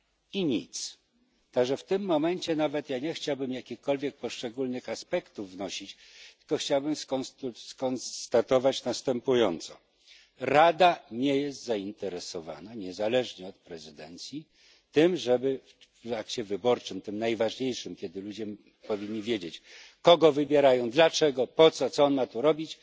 I nic. W tym momencie nawet ja nie chciałbym jakichkolwiek poszczególnych aspektów wnosić, tylko chciałbym skonstatować następująco Rada nie jest zainteresowana, niezależnie od prezydencji, tym żeby w akcie wyborczym, tym najważniejszym, ludzie wiedzieli, kogo wybierają, dlaczego, po co, co on ma tu robić.